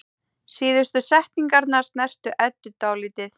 Síðustu setningarnar snertu Eddu dálítið.